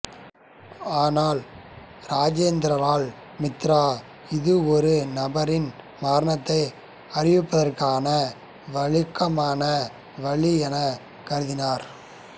ஆனால் இராஜேந்திரலால் மித்ரா இது ஒரு நபரின் மரணத்தை அறிவிப்பதற்கான வழக்கமான வழி என கருதினார்